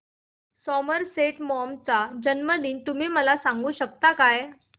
Somerset Maugham चा जन्मदिन तुम्ही मला सांगू शकता काय